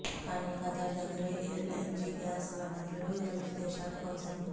కానీ ఖతార్ దగ్గర LNG gas వనరులు గల్ఫ్ దేశాలకు అవసరమే